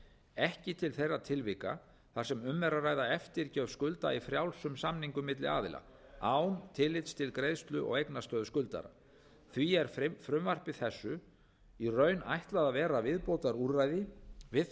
ekki til þeirra tilvika þar sem um er að ræða eftirgjöf skulda í frjálsum samningum milli aðila án tillits til greiðslu og eignastöðu skuldara því er frumvarpi þessu í raun ætlað að vera viðbótarúrræði við þau